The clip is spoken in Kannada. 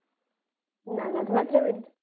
ನಾನು ಅದ್ ಮಾತ್ರ ಬಿಡುದು.